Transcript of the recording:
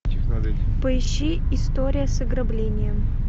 поищи история с ограблением